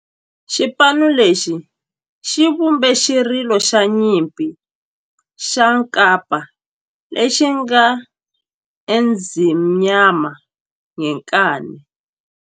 Xipano lexi xi vumbe xirilo xa nyimpi xa kampa lexi nge 'Ezimnyama Ngenkani'.